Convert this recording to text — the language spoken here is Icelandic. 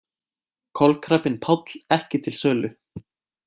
Kolkrabbinn Páll ekki til sölu